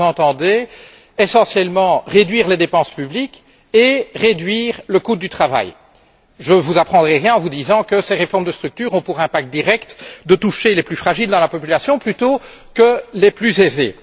par là, vous entendez, essentiellement, réduire les dépenses publiques et réduire le coût du travail. Je ne vous apprendrai rien en vous disant que ces réformes de structure ont pour impact direct de toucher les plus fragiles dans la population plutôt que les plus aisés.